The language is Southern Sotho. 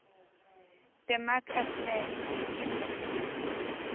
te maak is nie kinder